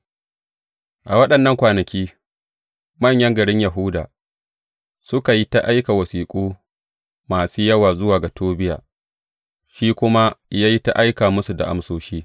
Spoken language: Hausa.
A waɗannan kwanaki, manyan garin Yahuda suka yi ta aika wasiƙu masu yawa zuwa ga Tobiya, shi kuma ya yi ta aika musu da amsoshi.